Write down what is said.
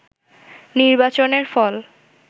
নির্বাচনের ফল